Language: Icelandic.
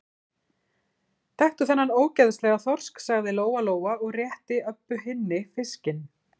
Taktu þennan ógeðslega þorsk, sagði Lóa-Lóa og rétti Öbbu hinni fiskinn.